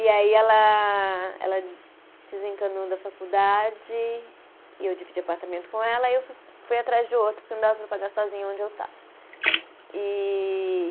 E aí ela, ela desencanou da faculdade, e eu dividia apartamento com ela, aí eu fui fui atrás de outro, porque não dava para pagar sozinha onde eu estava. E